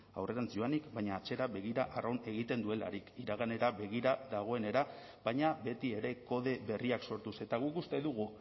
aurrerantz joanik baina atzera begira arrun egiten duelarik iraganera begira dagoenera baina beti ere kode berriak sortuz eta guk uste dugu